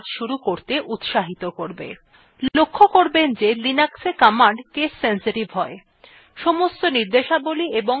লক্ষ্য করবেন the linuxwe command case sensitive হয়